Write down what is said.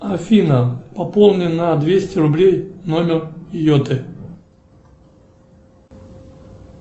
афина пополни на двести рублей номер йоты